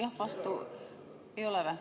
Ei ole või?